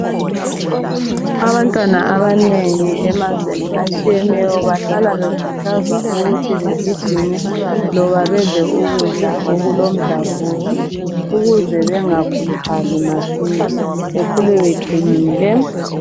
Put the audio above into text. Abantwana abanengi emazweni atshiyeneyo bahlala bekhuthazwa ukuthi begijime loba bedle ukudla okulomdlavuzo ukuze bengakhuluphali masinya bekhule beqinile.